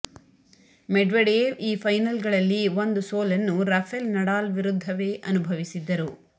Medvedev ಈ ಫೈನಲ್ಗಳಲ್ಲಿ ಒಂದು ಸೋಲನ್ನು ರಫೆಲ್ ನಡಾಲ್ ವಿರುದ್ಧವೇ ಅನುಭವಿಸಿದ್ದರು